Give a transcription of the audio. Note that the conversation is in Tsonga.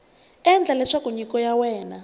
endla leswaku nyiko ya wena